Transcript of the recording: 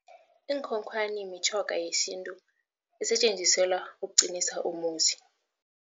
Iinkhonkhwani mitjhoga yesintu esetjenziselwa ukuqinisa umuzi.